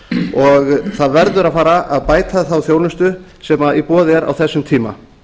og það verður að fara að bæta þá þjónustu sem í boði er á þessum tíma